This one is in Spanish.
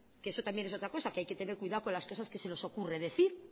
que eso también es otra cosa que hay que tener cuidado con las cosas que se nos ocurren decir